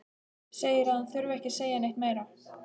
Segir að hann þurfi ekki að segja neitt meira.